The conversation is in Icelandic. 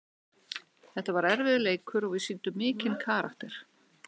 Þetta var erfiður leikur og við sýndum mikinn karakter.